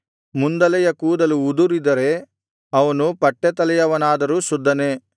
ಮುಂದಲೆಯ ಕೂದಲು ಉದುರಿದರೆ ಅವನು ಪಟ್ಟೆತಲೆಯವನಾದರೂ ಶುದ್ಧನೇ